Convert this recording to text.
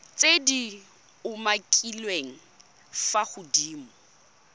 tse di umakiliweng fa godimo